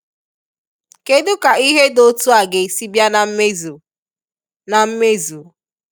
Kedu ka ihe di otu a ga esi bia na mmezu? na mmezu?